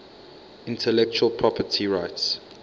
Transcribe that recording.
intellectual property rights